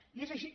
i és així